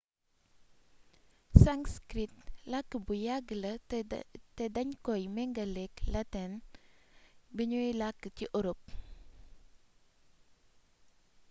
sanskrit làkk bu yàgg la te dañ koy méngaléek lateŋ buñuy làkk ci orop